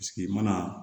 Paseke i mana